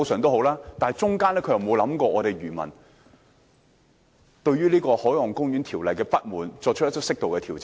但當中並沒有想到漁民對於《海岸公園條例》不滿，而作出適度的調整。